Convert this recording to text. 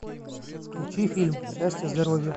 включи фильм счастье здоровье